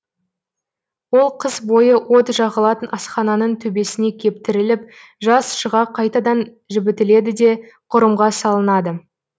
ол қыс бойы от жағылатын асхананың төбесіне кептіріліп жаз шыға қайтадан жібітіледі де кұрымға салынады